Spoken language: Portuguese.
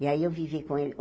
E aí eu vivi com ele